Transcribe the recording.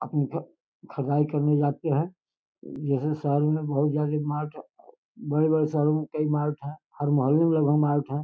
खुदाई करने जाते हैं। जैसे शहर में बहोत ज्यादा मार्ट हैं। बड़े-बड़े शहरों में कई मार्ट हैं। हर मोहले में मार्ट है।